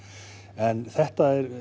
en þetta er